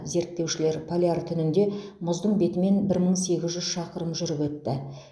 зерттеушілер поляр түнінде мұздың бетімен бір мың сегіз жүз шақырым жүріп өтті